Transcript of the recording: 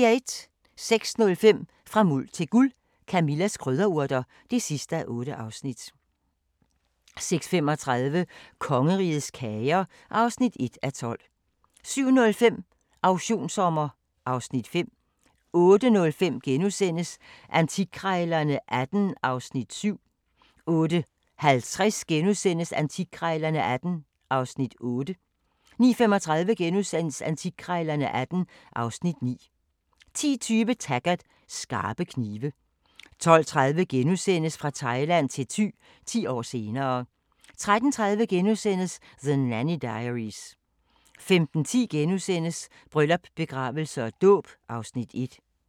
06:05: Fra Muld til Guld – Camillas krydderurter (8:8) 06:35: Kongerigets kager (1:12) 07:05: Auktionssommer (Afs. 5) 08:05: Antikkrejlerne XVIII (Afs. 7)* 08:50: Antikkrejlerne XVIII (Afs. 8)* 09:35: Antikkrejlerne XVIII (Afs. 9)* 10:20: Taggart: Skarpe knive 12:30: Fra Thailand til Thy – 10 år senere * 13:30: The Nanny Diaries * 15:10: Bryllup, begravelse og dåb (Afs. 1)*